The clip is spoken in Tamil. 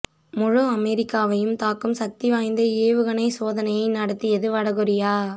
முழு அமெரிக்காவையும் தாக்கும் சக்தி வாய்ந்த ஏவுகணை சோதனையை நடத்தியது வடகொரியா